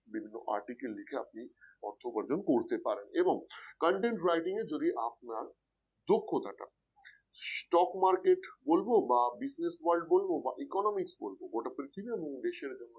বিভিন্ন article লিখে আপনি অর্থ উপার্জন করতে পারেন এবং content writing এ যদি আপনার দক্ষতাটা stock market বলবো বা Business world বলব বা economics বলবো গোটা পৃথিবী এবং দেশের